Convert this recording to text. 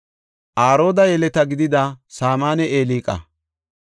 Arooda yeleta gidida Saamanne Eliqa,